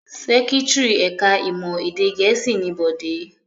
Secretary ẹ̀ka-ìmọ̀ èdè Gẹ̀ẹ́sì ni Bọ̀dé.